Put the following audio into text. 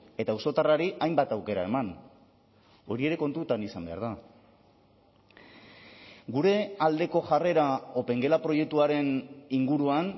eta auzotarrari hainbat aukera eman hori ere kontutan izan behar da gure aldeko jarrera opengela proiektuaren inguruan